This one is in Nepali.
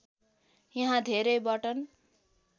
यहाँ धेरै बटन